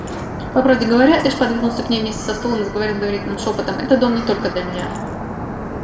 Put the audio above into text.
по правде говоря эш подвинулся к ней вместе со стулом и заговорил доверительным шёпотом это дом не только для меня